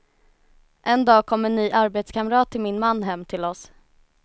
En dag kom en ny arbetskamrat till min man hem till oss.